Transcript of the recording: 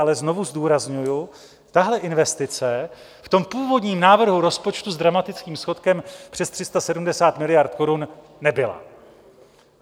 Ale znovu zdůrazňuji, tahle investice v tom původním návrhu rozpočtu s dramatickým schodkem přes 370 miliard korun nebyla.